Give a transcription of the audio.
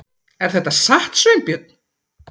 Er þetta satt, Sveinbjörn?